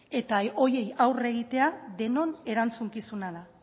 eta horiei aurre egitea denon erantzukizuna da